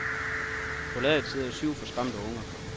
På ladet sidder syv forskræmte unger.